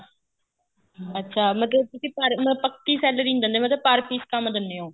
ਅੱਛਾ ਮਤਲਬ ਤੁਸੀਂ ਪਰ ਮਤਲਬ ਪੱਕੀ salary ਨਹੀਂ ਦਿੰਦੇ ਮਤਲਬ per piece ਕੰਮ ਦਿੰਨੇ ਹੋ